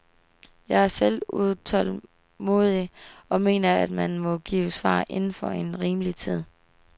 Jeg er selv utålmodig, og mener, at man må give svar inden for en rimelig tid.